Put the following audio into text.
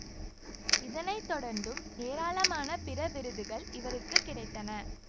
இதனை தொடர்ந்தும் ஏராளமான பிற விருதுகள் இவருக்கு கிடைத்தன